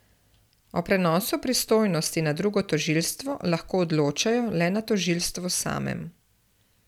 O prenosu pristojnosti na drugo tožilstvo lahko odločajo le na tožilstvu samem.